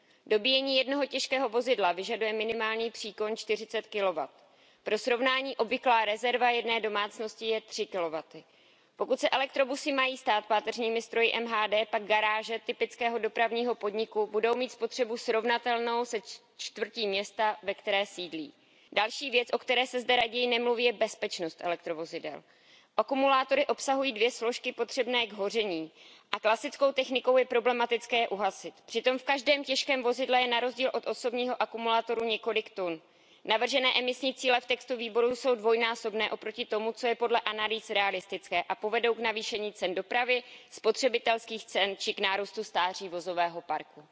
Dobíjení jednoho těžkého vozidla vyžaduje minimální příkon 40 kW. Pro srovnání obvyklá rezerva jedné domácnosti je 3 kW. Pokud se elektrobusy mají stát páteřními stroji městské hromadné dopravy, pak garáže typického dopravního podniku budou mít spotřebu srovnatelnou se čtvrtí města, ve které sídlí. Další věc, o které se zde raději nemluví, je bezpečnost elekrovozidel. Akumulátory obsahují dvě složky potřebné k hoření a klasickou technikou je problematické je uhasit. Přitom v každém těžkém vozidle je na rozdíl od osobního akumulátoru několik tun. Navržené emisní cíle v textu Výboru pro životní prostředí, veřejné zdraví a bezpečnost potravin jsou dvojnásobné oproti tomu, co je podle analýz realistické, a povedou k navýšení cen dopravy, spotřebitelských cen či k nárůstu stáří vozového parku.